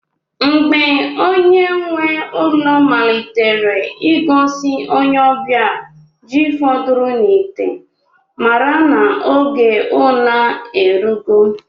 Mgbe onye nwe ụlọ malitere ịgosi onye ọbịa ji fọdụrụ n'ite, mara n'oge una erugo.